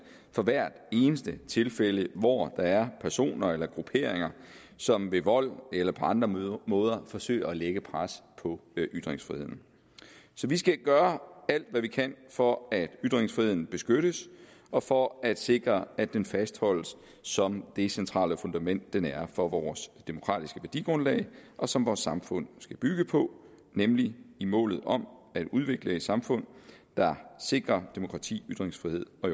fra hvert eneste tilfælde hvor der er personer eller grupperinger som ved vold eller på andre måder forsøger at lægge pres på ytringsfriheden så vi skal gøre alt hvad vi kan for at ytringsfriheden beskyttes og for at sikre at den fastholdes som det centrale fundament den er for vores demokratiske værdigrundlag og som vores samfund skal bygge på nemlig i målet om at udvikle et samfund der sikrer demokrati ytringsfrihed og